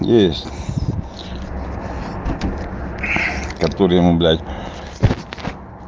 есть который ему блять